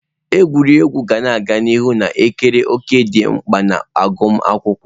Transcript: Egwuregwu ga-aga n'ihu na-ekere òkè dị mkpa na agụmakwụkwọ.